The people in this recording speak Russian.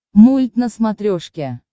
мульт на смотрешке